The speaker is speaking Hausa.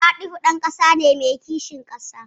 Fatihu ɗan ƙasa ne mai kishin ƙasa.